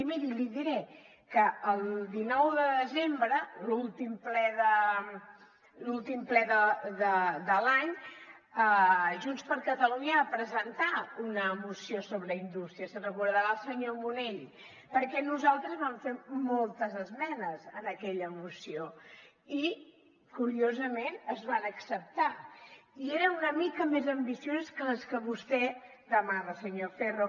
i miri li diré que el dinou de desembre l’últim ple de l’any junts per catalunya va presentar una moció sobre indústria se’n deu recordar el senyor munell perquè nosaltres vam fer moltes esmenes en aquella moció i curiosament es van acceptar i eren una mica més ambicioses que les que vostè demanava senyor ferro